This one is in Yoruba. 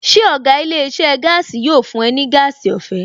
Ṣé ọ̀gá ilé iṣẹ́ gaasi yóò fún ẹ ní gas ọ̀fẹ́?